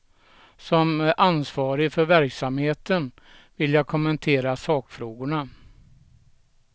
Som ansvarig för verksamheten vill jag kommentera sakfrågorna.